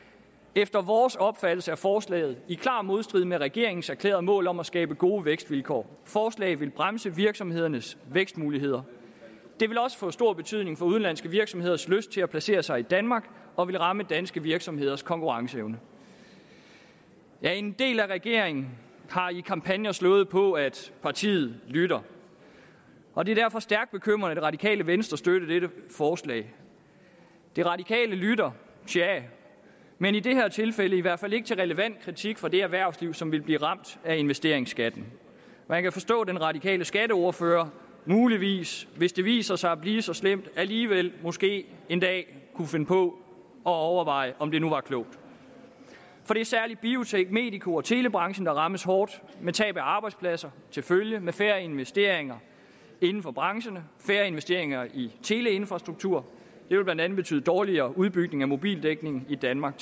efter vores opfattelse er forslaget i klar modstrid med regeringens erklærede mål om at skabe gode vækstvilkår forslaget vil bremse virksomhedernes vækstmuligheder det vil også få stor betydning for udenlandske virksomheders lyst til at placere sig i danmark og vil ramme danske virksomheders konkurrenceevne en del af regeringen har i kampagner slået på at partiet lytter og det er derfor stærkt bekymrende at det radikale venstre støtter dette forslag de radikale lytter tja men i det her tilfælde i hvert fald ikke til relevant kritik fra det erhvervsliv som vil blive ramt af investeringsskatten man kan forstå at den radikale skatteordfører muligvis hvis det viser sig at blive så slemt alligevel måske en dag kunne finde på at overveje om det nu var klogt det er særlig biotek medico og telebranchen der rammes hårdt med tab af arbejdspladser til følge med færre investeringer inden for brancherne færre investeringer i teleinfrastrukturen vil blandt andet betyde dårligere udbygning af mobildækningen i danmark